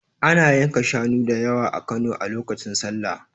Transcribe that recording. Ana yanka shanu da yawa a Kano a lokacin sallah.